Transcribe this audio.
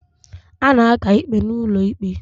A na-aka ikpe n'ụlọ ikpe